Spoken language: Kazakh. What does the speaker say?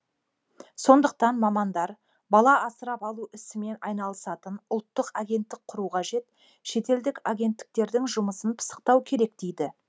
сондықтан мамандар бала асырап алу ісімен айналысатын ұлттық агенттік құру қажет шетелдік агенттіктердің жұмысын пысықтау керек дейді